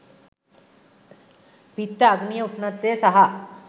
පිත්ත අග්නිය උෂ්ණත්වය සහ